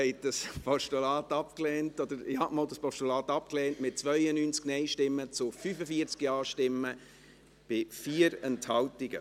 Sie haben dieses Postulat abgelehnt, mit 92 Nein- zu 45 Ja-Stimmen bei 4 Enthaltungen.